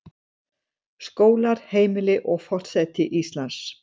Skólar, heimili, og forseti Íslands.